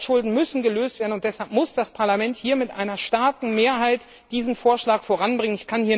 Die Altschulden müssen gelöst werden, und deshalb muss das Parlament hier mit einer starken Mehrheit diesen Vorschlag voranbringen.